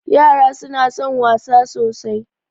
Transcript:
Yara suna son wasa sosai.